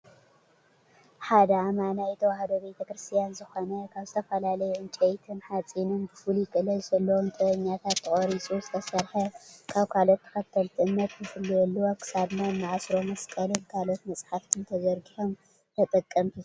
ሓደ ኣማናይ ተዋህዶ ቤተክርስትያን ዝኾነ ካብ ዝተፈላለዩ እንጨይቲን ሓፂንን ብፍሉይ ክእለት ዘለዎም ጥበበኛታት ተቐሪፁ ዝተሰርሐ ካብ ካል ኦት ተኸተልቲ እምነት ንፍለየሉ ኣብ ክሳድና እንኣስሮ መስቀልን ካልኦት መፃሓፍትን ተዘርጊሖም ንተጠቀምቲ ዝቕረቡ እዮም።